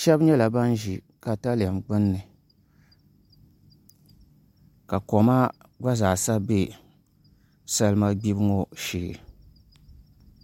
shab nyɛla ban ʒi katalɛm gbunni ka koma gba zaa sa bɛ salima gbibu ŋo shee